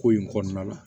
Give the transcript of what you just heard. Ko in kɔnɔna la